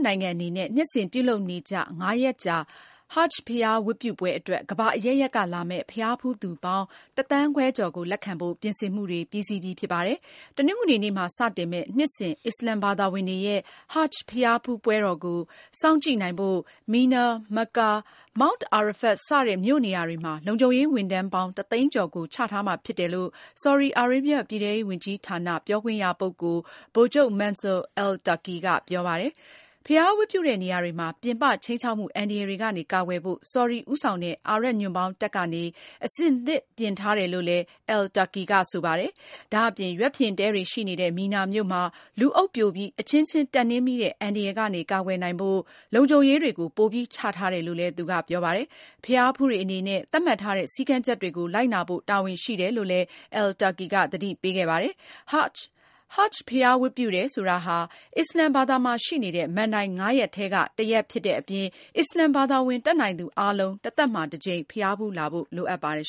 နိုင်ငံအနေနဲ့ နှစ်စဉ်ပြုလုပ်နေကျ ငါးရက်ကြာ Hajj ဘုရားဝတ်ပြုပွဲအတွက် ကမ္ဘာအရပ်ရပ်က လာမယ့် ဘုရားဖူးသူပေါင်း ၁ သန်းခွဲကျော်ကို လက်ခံဖို့ ပြင်ဆင်မှုတွေ ပြီးစီးပြီ ဖြစ်ပါတယ်။ တနင်္ဂနွေနေ့မှာ စတင်မယ့် နှစ်စဉ် အစ္စလမ်ဘာသာဝင်တွေရဲ့ Hajj ဘုရားဝတ်ပြုပွဲကို စောင့်ကြည့်နိုင်ဖို့ မီနာ၊ မက္ကာ၊ မောင့်တ် အာရဖတ် စတဲ့ မြို့နေရာတွေမှာ လုံခြုံရေးဝန်ထမ်းပေါင်း ၁၀၀,၀၀၀ ကျော်ကို ချထားမှာ ဖြစ်တယ်လို့ ဆော်ဒီအာရေဗျ ပြည်ထဲရေးဝန်ကြီးဌာန ပြောခွင့်ရပုဂ္ဂိုလ် ဗိုလ်ချုပ် Mansour al-Turki က ပြောပါတယ်။ ဘုရားဝတ်ပြုတဲ့နေရာတွေမှာ ပြင်ပ ခြိမ်းခြောက်မှု အန္တရာယ်တွေကနေ ကာကွယ်ဖို့ ဆော်ဒီ ဦးဆောင်တဲ့ အာရပ်ညွန့်ပေါင်းတပ်ကနေ အဆင်သင့်ပြင်ထားတယ်လို့လည်း al-Turki က ဆိုပါတယ်။ ဒါ့အပြင် ရွက်ဖျင် တဲတွေ ရှိနေတဲ့ မီနာမြို့မှာ လူအုပ်ပြိုပြီး အချင်းချင်းတက်နင်းမိတဲ့ အန္တရာယ်ကနေ ကာကွယ်နိုင်ဖို့ လုံခြုံရေး တွေကို ပိုပြီးချထားတယ်လို့ သူကပြောပါတယ်။ ဘုရားဖူးတွေအနေနဲ့ သတ်မှတ်ထားတဲ့ စည်းကမ်းချက်တွေကို လိုက်နာဖို့ တာဝန်ရှိတယ်လို့လည်း al-Turki က သတိပေးခဲ့ပါတယ်။ Hajj ဘုရားဝတ်ပြုတယ်ဆိုတာဟာ အစ္စလာမ်ဘာသာမှာရှိနေတဲ့ မဏ္ဍိုင် ငါးရပ်ထဲက တခုဖြစ်တဲ့အပြင် အစ္စလမ် ဘာသာဝင် တတ်နိုင်သူအားလုံး တသက်မှာ တကြိမ် ဘုရားဖူးလာဖို့ လိုအပ်ပါတယ်